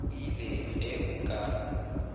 ii le ge o ka